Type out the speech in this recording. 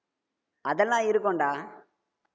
அதெல்லா இருக்கும்டா